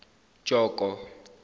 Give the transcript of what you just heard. joko